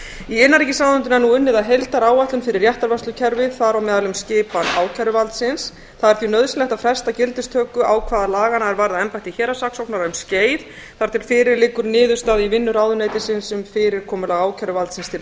í innanríkisráðuneytinu er nú unnið að heildaráætlun fyrir réttarvörslukerfið þar á meðal um skipan ákæruvaldsins það er því nauðsynlegt að fresta gildistöku ákvæða laganna er varða embætti héraðssaksóknara um skeið þar til fyrir liggur niðurstaða í vinnu ráðuneytisins um fyrirkomulag ákæruvaldsins til